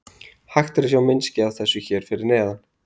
Hægt er að sjá myndskeið af þessu hér fyrir neðan.